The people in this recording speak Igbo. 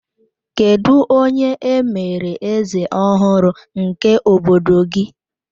Kedụ onye e mere eze ọhụrụ nke obodo gị?